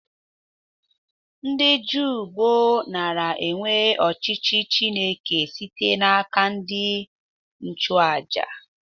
Ndị Juu gboo nara enwe ọchịchị Chineke site n'aka ndị nchụ aja.